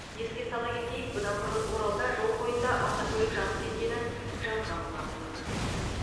еске сала кетейік бұдан бұрын оралда жол бойында автокөлік жанып кеткенін жазған болатынбыз